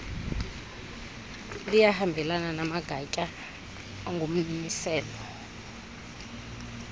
liyahambelana namagatya angummiselo